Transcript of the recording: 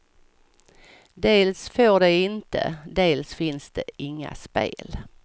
Dels får de inte, dels finns det inga spel.